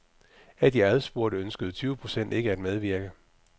Af de adspurgte ønskede tyve procent ikke at medvirke.